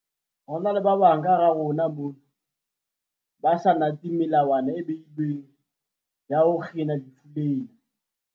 Ho na le ba bang kahara rona mona ba sa natseng melawana e beilweng ya ho kgina lefu lena.